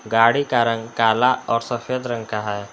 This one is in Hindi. गाड़ी का रंग काला और सफेद रंग का है।